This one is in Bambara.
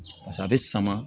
a bɛ sama